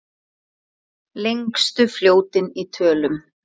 Lengstu fljótin í tölum